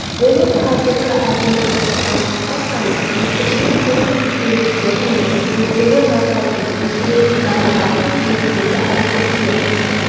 болып қазіргі әлеуметтік сұранысқа сай өздігінен ғылыми ізденістер мен зерттеулер жасайтын өзін-өзі дамытатын белсенді әрекетке